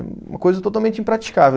Uma coisa totalmente impraticável.